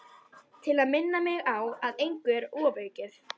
Til að minna mig á að engu er ofaukið.